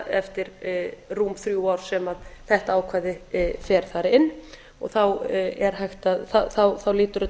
eftir rúm þrjú ár sem þetta ákvæði fer þar inn og þá lítur þetta